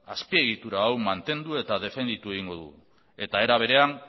azpiegitura hau mantendu eta defendituko dugu era berean